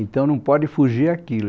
Então não pode fugir àquilo.